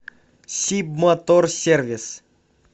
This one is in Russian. сибмоторсервис